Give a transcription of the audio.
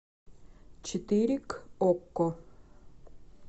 четыре к окко